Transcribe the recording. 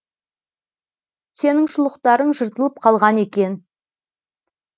сенің шұлықтарың жыртылып қалған екен